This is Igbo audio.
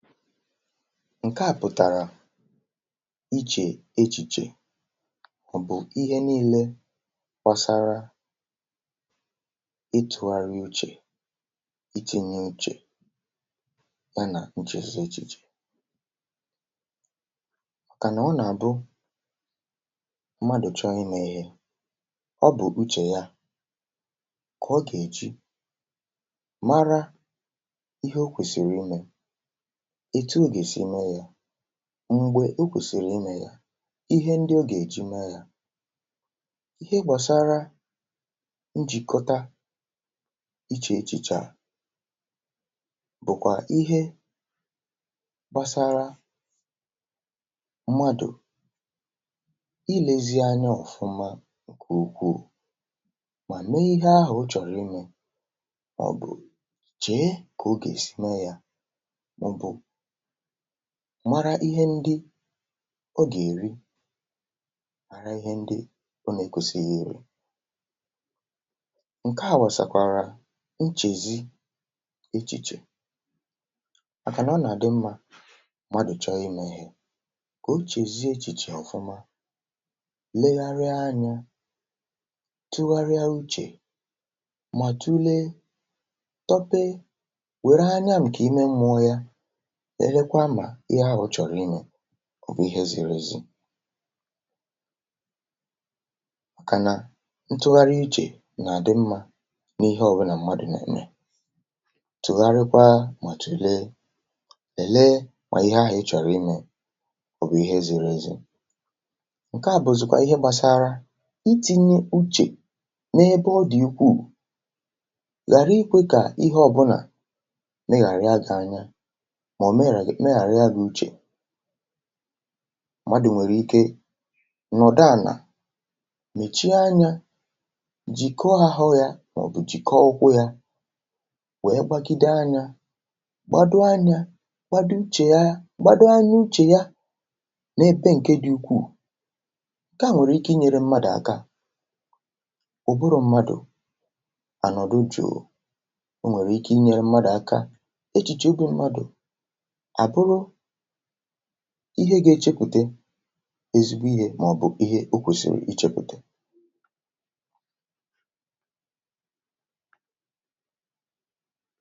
ǹkeà pụ̀tàrà ichè echìchè, ọ̀ bụ̀ ihe niilė fọsara ịtụ̇gharị uche, itị̇ nye uche ya nà uchezì echìchè, màkà nà ọ nà-àbụ mmadụ̀ chọọ imė ihe. Ọ bụ̀ uche ya kà ọ gà-èji mara ihe o kwèsìrì imė m̀gbè o kwèsìrì imė yȧ, ihe ndị o gà-èji mee yȧ, ihe gbàsara njìkọ̀ta ichè echìchè bụ̀kwà ihe gbasara mmadụ̀ ilėzi anya ọ̀fụma, kà ukwuù mà mee ihe ahụ̀ ụ̀ chọ̀rọ̀ imė, mèe ọ̀ bụ̀ chèe kà o gà-èsi mee yȧ, mara ihe ndị ọ gà-èri, ara ihe ndị ọ nà-èkwusi ihe iri̇. ǹke à wèsàkwàrà nchèzi echìchè, màkànà ọ nà-àdị mmȧ mmadụ̀ chọọ imė ihe, kà o chèzi echìchè ọ̀fụma, legharịa anya, tụgharịa uche, mà tule tọpe, wère anya m̀kè ime mmụọ yȧ, sèrekwa mà ihe ahụ̇ chọ̀rọ̀ imė òbò ihe zi̇ri̇ èzi. Kànà ntụgharị iche nà-àdị mmȧ n’ihe ọwụnà mmadụ̀ nà-ème, tụ̀gharịkwa, màtù lee, lèe, mà ihe ahụ̀ ị chọ̀rọ̀ imė òbò ihe ziri èzi. um ǹke à bụ̀zị̀kwa ihe gbȧsara itị̇nye uche n’ebe ọ dị̀ ukwuù, ghàra ikwė kà ihe ọbụnà mmadụ̀ nwèrè ike nọ̀dụ ànà mèchi anya, jìkọ̀ ahụ̇ yȧ mọ̀bụ̀ jìkọ̀ ọkwụkwụ̇ yȧ, wèe gbagide anya, gbado anya, gbado uche ya, gbado anya uche ya nà-ebe ǹke dị̇ ukwuu. Gaa, nwèrè ike inyėrė mmadụ̀ àka, ụ̀bụrụ̇ mmadụ̀ ànọ̀dụ jụ̀, o nwèrè ike inyėrė mmadụ̀ àka, ihe gȧ-ėchėpùtè ezigbo ihe, màọ̀bụ̀ ihe o kwèsìrì ichėpùtè.